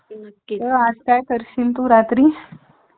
ते मुलाला तुम्ही सांगा व्यवस्थित सगळं